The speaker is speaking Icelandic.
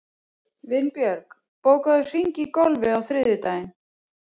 Vinbjörg, bókaðu hring í golf á þriðjudaginn.